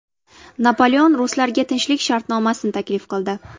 Napoleon ruslarga tinchlik shartnomasi taklif qildi.